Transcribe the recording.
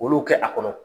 Olu kɛ a kɔnɔ